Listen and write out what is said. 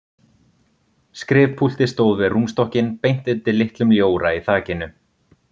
Skrifpúltið stóð við rúmstokkinn beint undir litlum ljóra í þakinu.